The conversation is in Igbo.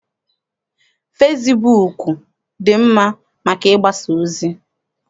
Fesibuuku dị mma maka ịgbasa ozi.